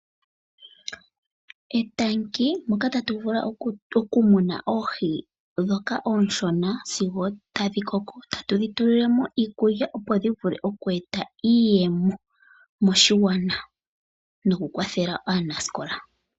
Etale moka tatu vulu okumuna oohi dhoka ooshona sigo tadhikoko, tatudhi tulilemo iikulya opo dhivule okweeta iiyemo moshigwana nokukwathela aanasikola.